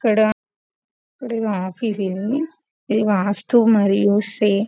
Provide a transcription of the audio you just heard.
ఇక్కడ ఎదో ఆఫీస్ ఇది వాస్తు మరియు --